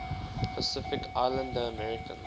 pacific islander americans